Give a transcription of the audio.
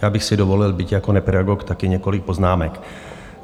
Já bych si dovolil, byť jako nepedagog, taky několik poznámek.